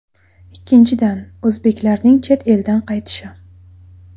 Ikkinchidan, o‘zbeklarning chet eldan qaytishi.